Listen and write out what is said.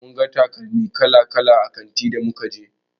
Mun ga takalma kala-kala a kantin da muka je.